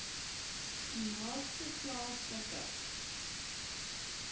u naaste plaaslike